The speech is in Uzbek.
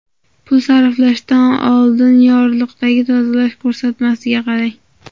Pul sarflashdan oldin yorliqdagi tozalash ko‘rsatmasiga qarang.